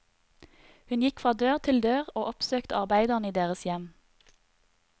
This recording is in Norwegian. Hun gikk fra dør til dør og oppsøkte arbeiderne i deres hjem.